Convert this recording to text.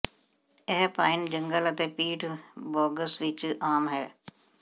ਇਹ ਪਾਈਨ ਜੰਗਲ ਅਤੇ ਪੀਟ ਬੋਗਸ ਵਿੱਚ ਆਮ ਹੈ